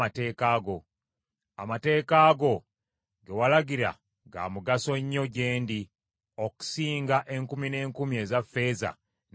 Amateeka go ge walagira ga mugaso nnyo gye ndi okusinga enkumi n’enkumi eza ffeeza ne zaabu.